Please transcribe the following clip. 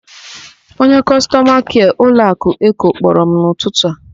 Onye kọstọma kịa ụlọakụ Eko kpọrọ m n'ụtụtụ a.